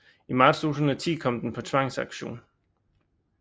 I marts 2010 kom den på tvangsauktion